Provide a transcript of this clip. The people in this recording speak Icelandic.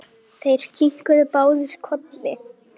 Þeir kinkuðu báðir kolli.